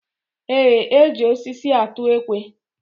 Eé, e ji osisi atụ ekwe.